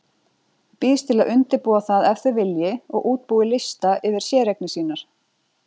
Býðst til að undirbúa það ef þau vilji og útbúi lista yfir séreignir sínar.